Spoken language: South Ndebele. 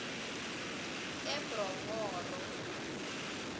ebronghoro